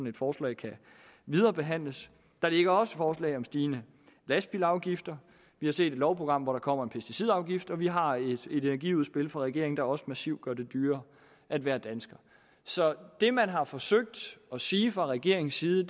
et forslag kan viderebehandles der ligger også et forslag om stigende lastbilafgifter vi har set et lovprogram hvor der kommer en pesticidafgift og vi har et energiudspil fra regeringen der også massivt gør det dyrere at være dansker så det man har forsøgt at sige fra regeringens side